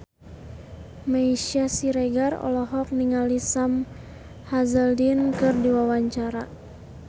Meisya Siregar olohok ningali Sam Hazeldine keur diwawancara